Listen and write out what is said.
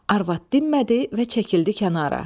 Arvad dinmədi və çəkildi kənara.